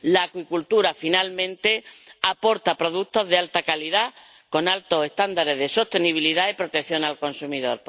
La acuicultura, finalmente, aporta productos de alta calidad, con altos estándares de sostenibilidad y protección al consumidor.